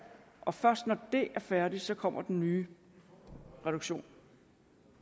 og først når det er færdigt kommer den nye reduktion